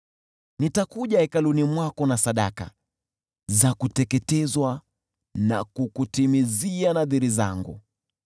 Nitakuja hekaluni mwako na sadaka za kuteketezwa na kukutimizia nadhiri zangu: